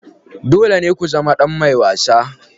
Dole ne ku zama ɗan mai wasa.